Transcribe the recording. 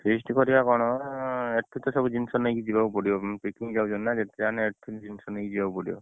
Feast କରିଆ କଣ ଏଠୁତ ସବୁ ଜିନିଷ ନେଇକି ଯିବାକୁ ପଡିବ picnic ଯାଉଛନ୍ତି ନା ଯେତେ ଜାହେନେ ଏଠୁ ଜିନିଷ ନେଇକି ଯିବାକୁ ପଡିବ